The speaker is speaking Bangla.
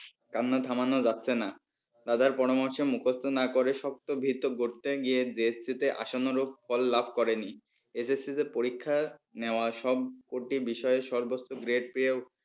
কান্না থামানো যাচ্ছে না। দাদার পরামর্শ মুখস্ত না করে শক্ত ভিদ গড়তে গিয়ে JSC আসন্ন রূপ ফল লাভ করেনি SSC তে পরীক্ষা নেওয়া সব কটি বিষয়ে সর্বোচ্চ gread পেয়েও